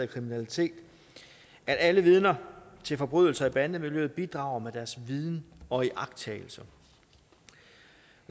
kriminalitet at alle vidner til forbrydelser i bandemiljøet bidrager med deres viden og iagttagelser